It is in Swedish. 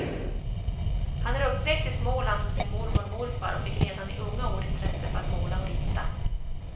Han är uppväxt i småland hos sin mormor och morfar, och fick redan i unga år intresse för att måla och rita.